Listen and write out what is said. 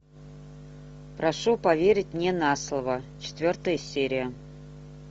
прошу поверить мне на слово четвертая серия